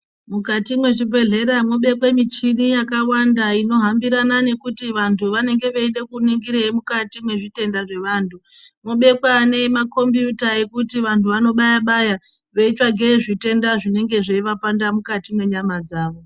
Mukati mwendaramo mobekwa michini yakawanda ino hambirana nekuti vantu vanenge veuda kuningireyi mukati mezvitenda zvevantu mobekwa nemakombuyuta ekuti vantu vonobaya baya veitsvake zvitenda zvinenge zveyivanesa mukati menyama dzavo.